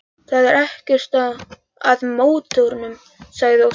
Það er ekkert að mótornum, sagði Óskar.